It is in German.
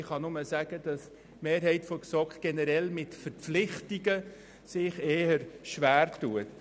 Ich kann lediglich sagen, dass die Mehrheit der GSoK sich mit Verpflichtungen generell eher schwertut.